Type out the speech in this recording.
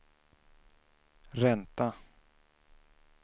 ränta